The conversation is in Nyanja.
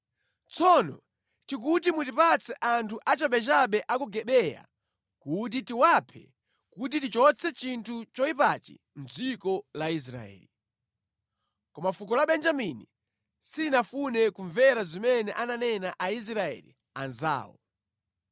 Tsono tikuti mutipatse anthu achabechabe a ku Gibeya kuti tiwaphe kuti tichotse chinthu choyipachi mʼdziko la Israeli.” Koma fuko la Benjamini silinafune kumvera zimene ananena Aisraeli anzawo.